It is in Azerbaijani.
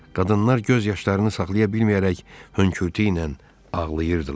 Qadınlar göz yaşlarını saxlaya bilməyərək hönkürtü ilə ağlayırdılar.